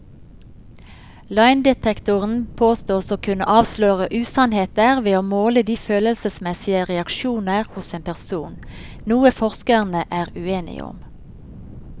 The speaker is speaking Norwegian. Løgndetektoren påstås å kunne avsløre usannheter ved å måle de følelsesmessige reaksjoner hos en person, noe forskerne er uenige om.